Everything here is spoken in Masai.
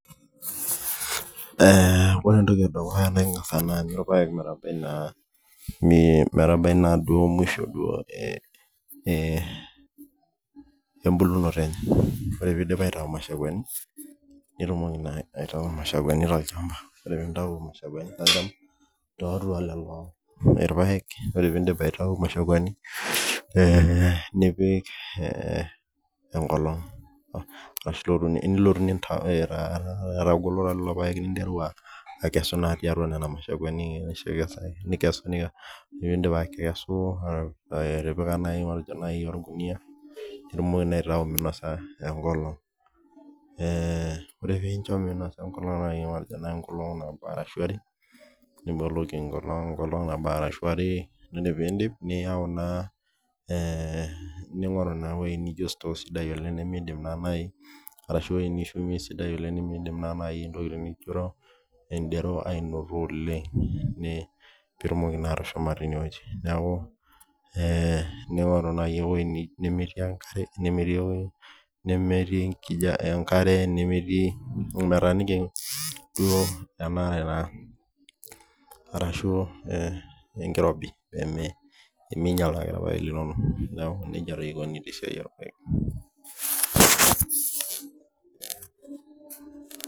Ore entoki naa ingas aanyu irpayek metabai musho embulunoto enye aa taa mitayu imashakuani ore ake piidip nitayu inaduo mashakuani nipik enkolong metagolito nkolongi are ashu uni ninye metagolito pii irpayek neishu enkare niyau naa naaji sitoo aa taa ewueji nelamita nkariak nimirobe sii peeminyal naa ake irpayek linonok